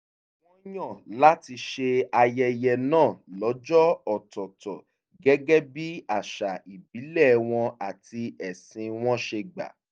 wọ́n yàn láti ṣe ayẹyẹ náà lọ́jọ́ ọ̀tọ̀ọ̀tọ̀ gẹ́gẹ́ bí àṣà ìbílẹ̀ wọn àti ẹ̀sìn wọn ṣe gbà